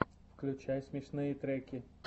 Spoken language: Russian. включай смешные треки